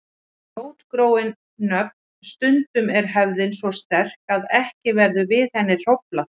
Rótgróin nöfn Stundum er hefðin svo sterk að ekki verður við henni hróflað.